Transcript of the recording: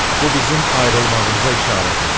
Bu bizim ayrılmağımıza işarədir.